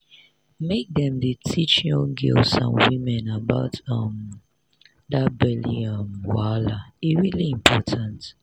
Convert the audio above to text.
make dem dey teach young girls and women about um that belly um wahala e really important